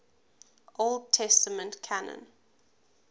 old testament canon